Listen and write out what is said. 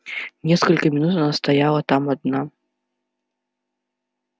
несколько минут она стояла там одна